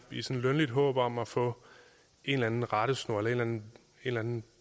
lønligt håb om at få en eller anden rettesnor eller en eller anden